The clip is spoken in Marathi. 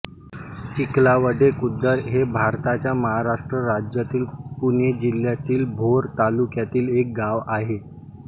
चिखलावडे खुर्द हे भारताच्या महाराष्ट्र राज्यातील पुणे जिल्ह्यातील भोर तालुक्यातील एक गाव आहे